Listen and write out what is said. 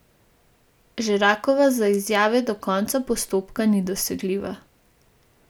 Žerakova za izjave do koca postopka ni dosegljiva.